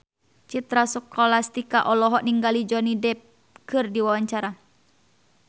Citra Scholastika olohok ningali Johnny Depp keur diwawancara